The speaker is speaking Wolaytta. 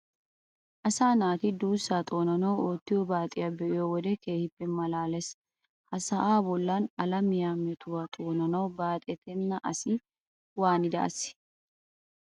Asaa naati duussaa xoonanawu oottiyo baaxiya be'iyo wode keehippe maalaalees. Ha sa'aa bollan alamiya metuwa xoonanawu baaxetenna asi waanida asee?